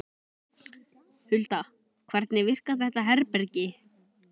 Hulda, hvernig virkar þetta herbergi?